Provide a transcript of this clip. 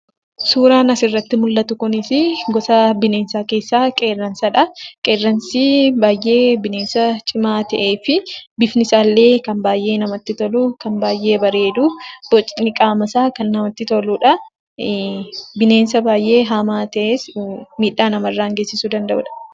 Suuraan asirratti mul'atu kun suuraa bineensaa keessaa qeerransadha. Qeerransi bineensa baay'ee cimaa ta'ee fi bifni isaallee kan namatti tolu baay'ee bareedu. Bocni qaamasaa baay'ee kan namatti toludha. Bineensa baay'ee hamaa ta'es miidhaa namarraan geessisuu danda'udha.